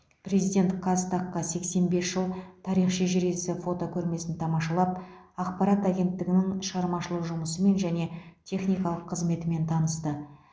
президент қазтаг қа сексен бес жыл тарих шежіресі фотокөрмесін тамашалап ақпарат агенттігінің шығармашылық жұмысымен және техникалық қызметімен танысты